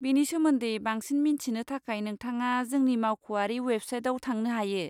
बेनि सोमोन्दै बांसिन मिथिनो थाखाय नोंथाङा जोंनि मावख'आरि वेबसाइटाव थांनो हायो।